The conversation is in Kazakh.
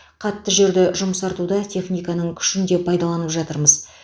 қатты жерді жұмсартуда техниканың күшін де пайдаланып жатырмыз